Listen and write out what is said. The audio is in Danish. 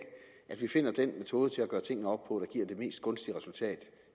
at vi finder den metode til at gøre tingene op på der giver det mest gunstige resultat